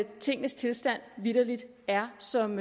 tingenes tilstand vitterlig er som